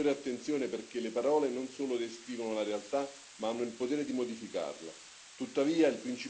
Occorre prestare maggiore attenzione perché le parole non solo descrivono la realtà, ma hanno il potere di modificarla.